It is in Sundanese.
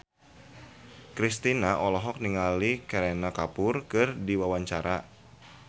Kristina olohok ningali Kareena Kapoor keur diwawancara